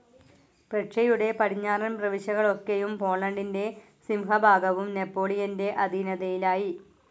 പ്രഷ്യയുടെ പടിഞ്ഞാറൻ പ്രവിശ്യകളൊക്കെയും പോളണ്ടിന്റെ സിംഹഭാഗവും നെപോളിയന്റെ അധീനതയിലായി.